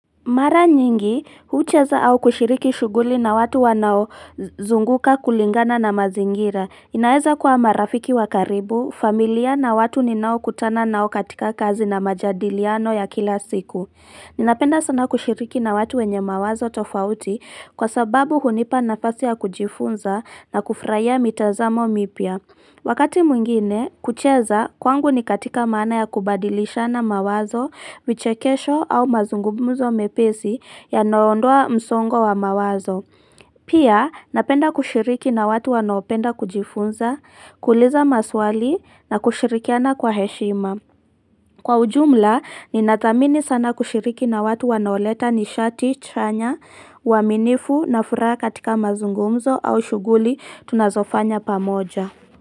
Mara nyingi, hucheza au kushiriki shughuli na watu wanao zunguka kulingana na mazingira. Inaeza kua marafiki wakaribu, familia na watu ninao kutana nao katika kazi na majadiliano ya kila siku. Napenda sana kushiriki na watu wenye mawazo tofauti kwa sababu hunipa nafasi ya kujifunza na kufraia mitazamo mipya. Wakati mwingine, kucheza, kwangu ni katika mana ya kubadilisha na mawazo, vichekesho au mazungumzo mepesi yanoondoa msongo wa mawazo. Pia, napenda kushiriki na watu wanaopenda kujifunza, kuliza maswali na kushirikiana kwa heshima. Kwa ujumla, ninathamini sana kushiriki na watu wanaoleta ni shati, chanya, uaminifu na furaha katika mazungumzo au shughuli tunazofanya pamoja.